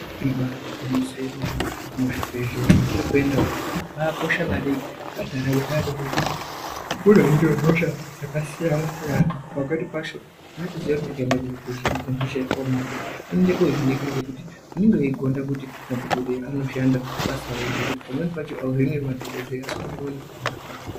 Ibari gwinyiso remene muzvibhedhlera mwatiri kuenda umu mwakakosha maningi pandaramo yeanhu ngekuti kunoinwa hosha dzakasiyana-siyana pamweni pacho unotoziya kuti ndikaenda kuchibhedhleya kuenda kohinika ngekuti unenge wegonda kuti madhokodheya anoshanda basa rawo zvekuti pamweni pacho auhinwi ngemadhokodheya asi kuti unenge une kugonda kwako.